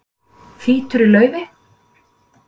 Þýtur í laufi